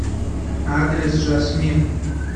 адрес жасмин